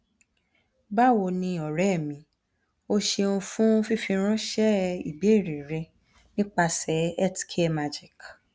bawo ni ore mi o ṣeun fun fifiranṣẹ ibeere rẹ nipasẹ healthcare magic